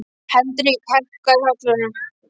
Hendrik, hækkaðu í hátalaranum.